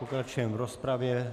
Pokračujeme v rozpravě.